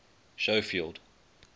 schofield